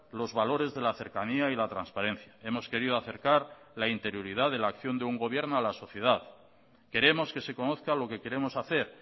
los valores de la cercanía y la transparencia hemos querido acercar la interioridad de la acción de un gobierno a la sociedad queremos que se conozca lo que queremos hacer